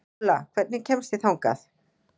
Óla, hvernig kemst ég þangað?